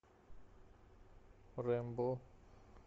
рэмбо